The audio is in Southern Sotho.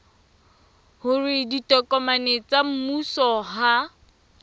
hore ditokomane tsa mmuso ha